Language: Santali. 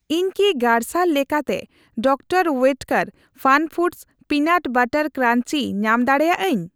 ᱤᱧ ᱠᱤ ᱜᱟᱨᱥᱟᱨ ᱞᱮᱠᱟᱛᱮ ᱰᱤᱟᱨᱹ ᱳᱭᱮᱴᱠᱮᱨ ᱯᱷᱟᱱᱯᱷᱩᱰᱚᱥ ᱚᱤᱱᱟᱴ ᱵᱟᱨᱟᱴ ᱠᱨᱟᱧᱡᱤ ᱧᱟᱢ ᱫᱟᱲᱮᱭᱟᱜᱼᱟᱹᱧ?